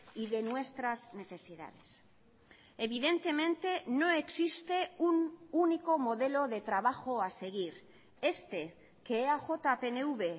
y de nuestras necesidades evidentemente no existe un único modelo de trabajo a seguir este que eaj pnv